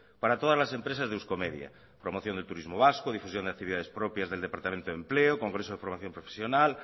par todas las empresas de euskomedia promoción de turismo vasco difusión y actividades propias del departamento de empleo congreso de programación profesional